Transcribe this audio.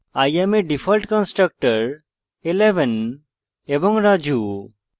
i am a default constructor